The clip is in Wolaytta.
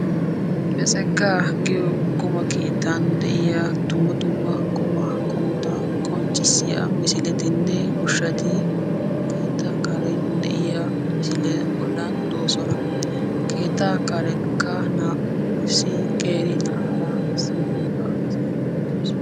Betsegaa giyo qummaa keettan de'iya dumma dumma qummaa qommota qonccissiya misilettinne ushshati keettaa karen de'iya misiliya bollan doosona. Keettaa karenkka naa"u issi qeera na'aara issi wogga asaara uttiddossona.